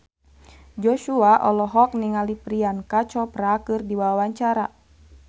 Joshua olohok ningali Priyanka Chopra keur diwawancara